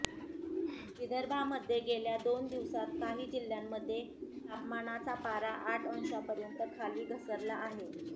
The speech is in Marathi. विदर्भामध्ये गेल्या दोन दिवसांत काही जिल्ह्यांमध्ये तापमानाचा पारा आठ अंशापर्यंत खाली घसरला आहे